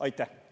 Aitäh!